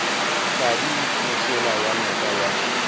tladi mošola wa noka ya